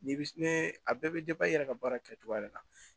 Ni bi ne a bɛɛ bɛ i yɛrɛ ka baara kɛcogoya de la